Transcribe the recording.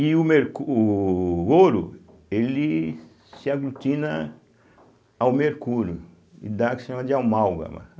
E o mercu o ouro ele se aglutina ao mercúrio e dá o que se chama de amálgama.